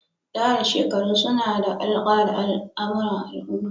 Tsara shakaru suna da alƙa da al'amura al'umma.